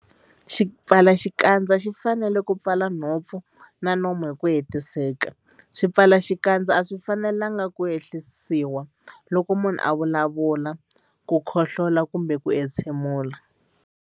Xipfalaxikandza xi fanele ku pfala nhompfu na nomo hi ku hetiseka. Swipfalaxikandza a swi fanelanga ku ehlisiwa loko munhu a vulavula, KU khohlola kumbe ku entshemula.